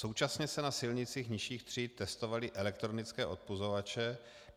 Současně se na silnicích nižších tříd testovaly elektronické odpuzovače.